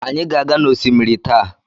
Anyị ga-aga n'osimiri taa.